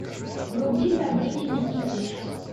вруби добрыня никитич